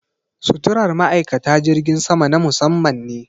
Suturar ma'aikata jirgin sama na musamman ne.